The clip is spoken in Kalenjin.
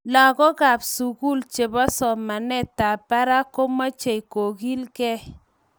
Lagookab sugul chebo somanetab barak komechei kogilgei